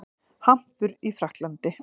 Hampur í Frakklandi.